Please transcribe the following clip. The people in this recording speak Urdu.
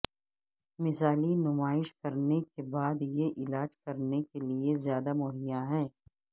مثالی نمائش کرنے کے بعد یہ علاج کرنے کے لئے زیادہ مہیا ہے